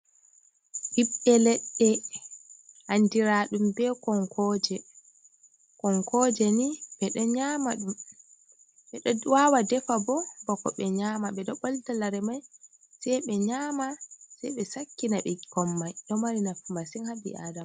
Ɓiɓɓe leɗɗe, andiraɗum be konkoje, konkoje ni ɓe ɗo nyama ɗum, ɓe ɗo wawa defa bo bako ɓe nyama, ɓe ɗo ɓolta lare mai sai ɓe nyama, sai ɓe sakkina ɓikkon mai, ɗo mari nafu masin haa ɓi adama.